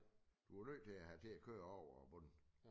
Du er nødt til at have til at køre over bunden